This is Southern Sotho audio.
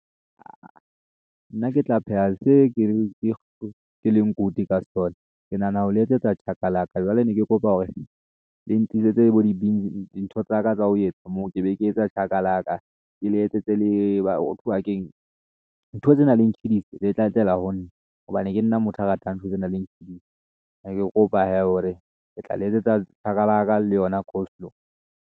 Nna ke tla pheha, se ke leng good ka sona. Ke nahana ho le e tsetsa chakalaka jwale ne ke kopa hore le ntlisetse bo di dintho tsaka tsa ho etsa moo ke be ke etsa chakalaka ke le etsetse le hothwa keng, ntho tse nang le tjhidisi di tla tlela ho nna hobane ke nna motho a ratang ntho tse nang le tjhidisi ne ke kopa hee hore ke tla le etsetsa chakalaka le yona coleslaw.